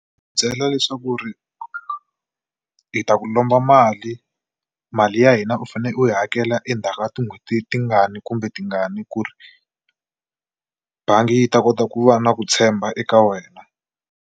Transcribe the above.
Ku byela leswaku ri hi ta ku lomba mali mali ya hina u fane u yi hakela endzhaku ka tin'hweti tingani kumbe tingani ku ri bangi yi ta kota ku va na ku tshemba eka wena.